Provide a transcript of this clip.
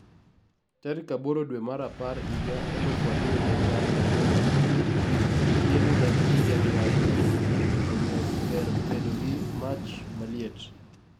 tarik aboro dwe mar apar yiga elufu ariyo gi apar gi aboro Chieng' jarieny ahinya, omiyo ber bedo gi mach maliet.